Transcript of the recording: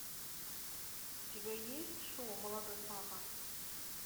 у тебя есть шоу молодой папа